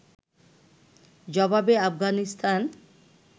জবাবে আফগানিস্তান